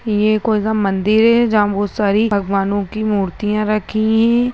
ये कोई सा मंदिर है जहाँ बहुत सारी भगवानों की मूर्तिया रखी हैं।